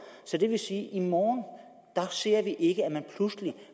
så det vil sige at i morgen ser vi ikke at man pludselig